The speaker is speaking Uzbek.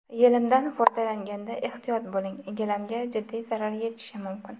Yelimdan foydalanganda ehtiyot bo‘ling gilamga jiddiy zarar yetishi mumkin.